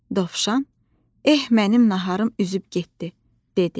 Dovşan: "Eh, mənim naharım üzüb getdi", dedi.